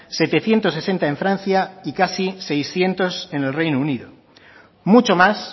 setecientos sesenta en francia y casi seiscientos en el reino unido mucho más